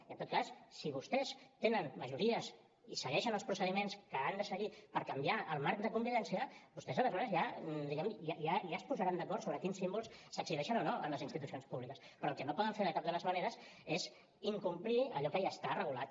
i en tot cas si vostès tenen majories i segueixen els procediments que han de seguir per canviar el marc de convivència vostès aleshores ja diguem ne ja es posaran d’acord sobre quins símbols s’exhibeixen o no en les institucions públiques però el que no poden fer de cap de les maneres és incomplir allò que ja està regulat